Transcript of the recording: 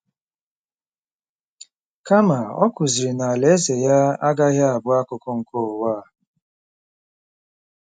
Kama, ọ kụziri na alaeze ya agaghị abụ “ akụkụ nke ụwa a.